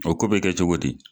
O ko bɛ kɛ cogo di